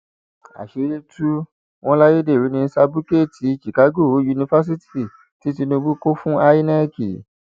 àṣírí tú wọn láyédèrú ní sábúkẹẹtì chicago yunifásitì tí tinubu kọ fún inec